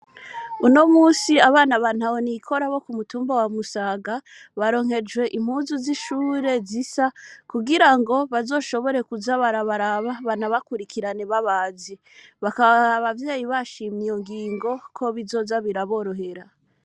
Unomunsi abana ba ntahonikora bo ku mutumba wa Musaga baronkejwe impuzu z’ishure zisa kugira ngo bazoshobora kuza barabaraba banabakurikirane babazi. Bakaba abavyeyi bashimiye iyo ngingo ko bizoza biraborohera.